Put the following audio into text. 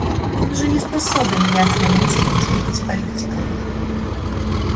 он уже не способен ясно мыслить и быть политиком